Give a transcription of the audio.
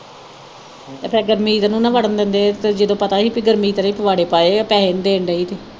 ਤੇ ਫਿਰ ਗੁਰਮੀਤ ਨੂੰ ਨਾ ਵੜਨ ਦਿੰਦੇ ਤੇ ਜਦੋਂ ਪਤਾ ਹੀ ਬਈ ਗੁਰਮੀਤ ਨੇ ਹੀ ਪੁਆੜੇ ਪਾਏ ਆ ਪੈਹੇ ਨੀ ਦੇਣ ਦਈ ਤੇ